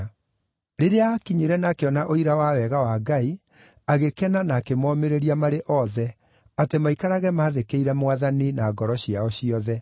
Rĩrĩa aakinyire na akĩona ũira wa wega wa Ngai, agĩkena na akĩmomĩrĩria marĩ othe, atĩ maikarage maathĩkĩire Mwathani na ngoro ciao ciothe.